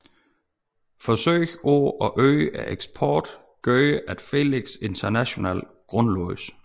Forsøg på at øge eksporten gjorde at Felix International grundlagdes